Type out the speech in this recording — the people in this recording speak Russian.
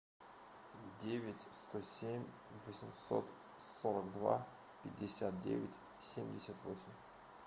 девять сто семь восемьсот сорок два пятьдесят девять семьдесят восемь